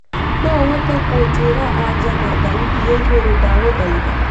no uhote kunjĩĩra anja na thaũti ya iguru ndagũthaĩtha